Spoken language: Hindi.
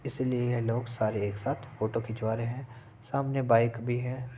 इसलिए यह लोग सारे एक साथ फोटो खिंचवा रहे हैं सामने बाइक भी है।